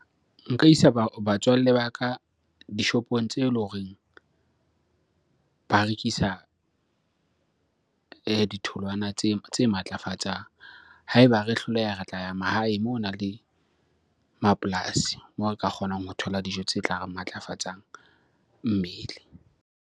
Nka isa batswalle ba ka dishopong tse leng horeng ba rekisa ditholwana tse matlafatsang. Ha eba re hloleha, re tla ya mahae moo ho nang le mapolasi, moo re ka kgonang ho thola dijo tse tla re matlafatsang mmele.